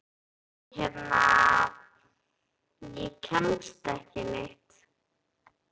Ég hérna. ég kemst ekki neitt.